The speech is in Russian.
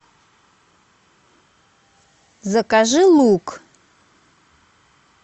закажи лук